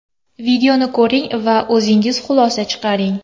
Videoni ko‘ring va o‘zingiz xulosa chiqaring.